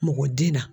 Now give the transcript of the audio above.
Mɔgɔ den na